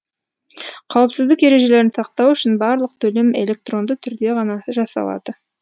қауіпсіздік ережелерін сақтау үшін барлық төлем электронды түрде ғана жасалады